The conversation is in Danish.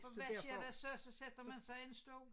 For hvad sker der så så sætter man sig en stol